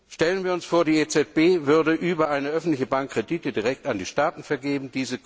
Stellen wir uns vor, die EZB würde über eine öffentliche Bank Kredite direkt an die Staaten vergeben.